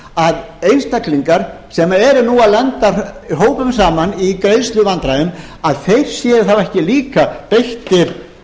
að einstaklingar sem eru nú að lenda hópum saman í greiðsluvandræðum séu þá ekki líka beittir